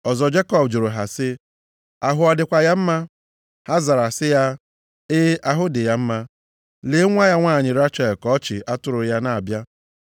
Ọzọ Jekọb jụrụ ha sị, “Ahụ ọ dịkwa ya mma?” Ha zara sị ya, “E, ahụ dị ya. Lee nwa ya nwanyị Rechel ka ọ chị atụrụ ya na-abịa.”